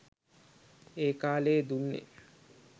ඒ කාලයේ දුන්නේ